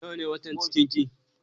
Nawa ne watan cikin ki?